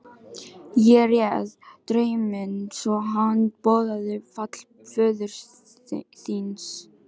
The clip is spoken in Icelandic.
Ég réð drauminn svo að hann boðaði fall föður þíns.